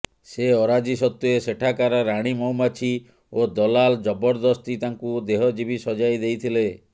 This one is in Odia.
ସେ ଅରାଜି ସତ୍ତ୍ବେ ସେଠାକାର ରାଣୀ ମହୁମାଛି ଓ ଦଲାଲ୍ ଜବରଦସ୍ତି ତାଙ୍କୁ ଦେହଜୀବୀ ସଜାଇ ଦେଇଥିଲେ